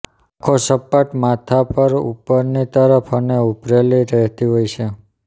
આંખો સપાટ માથા પર ઊપરની તરફ અને ઉભરેલી રહેતી હોય છે